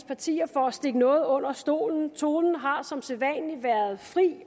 partier for at stikke noget under stolen tonen har som sædvanlig været fri